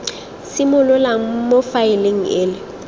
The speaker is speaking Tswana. simololang mo faeleng e le